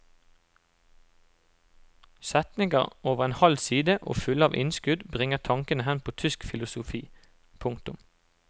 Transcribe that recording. Setninger over en halv side og fulle av innskudd bringer tankene hen på tysk filosofi. punktum